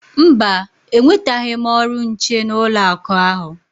Mba, enwetaghị m ọrụ nche n'ụlọakụ ahụ.